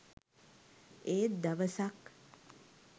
ඒත් දවසක්